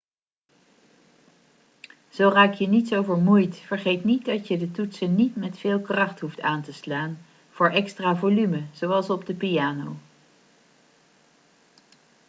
zo raak je niet zo vermoeid vergeet niet dat je de toetsen niet met veel kracht hoeft aan te slaan voor extra volume zoals op de piano